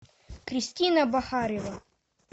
кристина бахарева